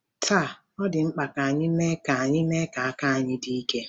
Taa, ọ dị mkpa ka anyị mee ka anyị mee ka aka anyị dị ike.